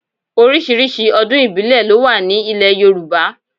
Oríṣiríṣi ọdún ìbílẹ̀ ló wà ní ile Yorùbá.